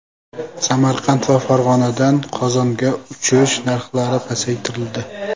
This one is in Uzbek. Samarqand va Farg‘onadan Qozonga uchish narxlari pasaytirildi.